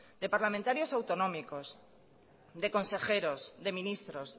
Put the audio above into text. de parlamentarios autonómicos de consejeros de ministros